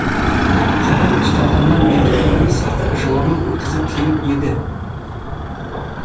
қапан ұсталғаннан бергі өмірін сақып жылаумен өткізіп келіп еді